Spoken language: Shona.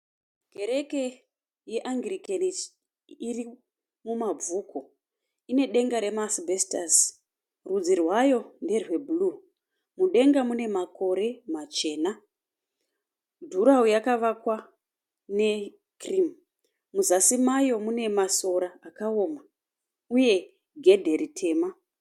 Kereke yeAnglican iri muMabvuku, ine denga remaasibhesitasi. Rudzi rwayo nderwebhuruu, mudenga mune makore machena. Jurahoro rakavakwa nekirimu muzasi maro mune masora uye gedhe dema.